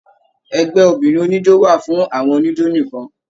Ẹgbẹ obìnrin oníjó wà fún àwọn oníjó nìkan.